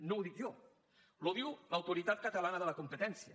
no ho dic jo ho diu l’autoritat catalana de la competència